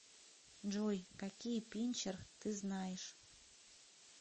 джой какие пинчер ты знаешь